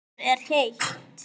Okkur er heitt.